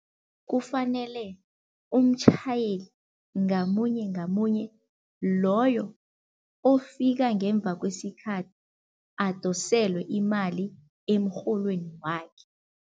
Kufanele umtjhayeli ngamunye ngamunye loyo ofika ngemva kwesikhathi, adoselwe imali emrholweni wakhe.